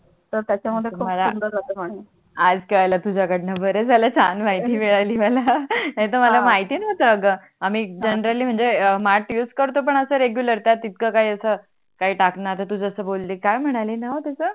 आज कळाल तुझ्या कळण बर झाल छान माहिती मिडली मला नाही तर हा मला माहिती नोव्हतणा अग आम्ही जनरली म्हणजे माठ यूज करतो पण अस Regular त्यात इथक काही अस काही टाकण आता तु जसी बोली काय म्हणालीणा हो तस